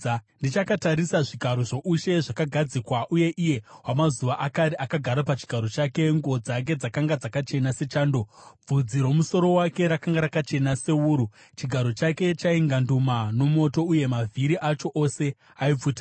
“Ndichakatarisa, “zvigaro zvoushe zvakagadzikwa, uye Iye Wamazuva Akare akagara pachigaro chake. Nguo dzake dzakanga dzakachena sechando; bvudzi romusoro wake rakanga rakachena sewuru. Chigaro chake chainganduma nomoto, uye mavhiri acho ose aipfuta.